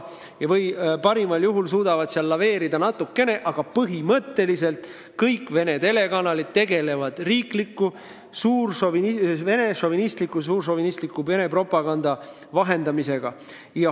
Parimal juhul suudavad nad seal natukene laveerida, aga põhimõtteliselt tegelevad kõik Vene telekanalid riikliku, suurvene šovinistliku propaganda vahendamisega.